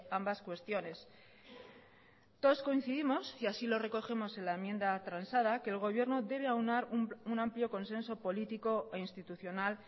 ambas cuestiones todos coincidimos y así lo recogemos en la enmienda transada que el gobierno debe aunar un amplio consenso político e institucional